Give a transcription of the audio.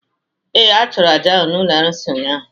Ee, a chụrụ àjà ahụ n’ụlọ arụsị ụnyahụ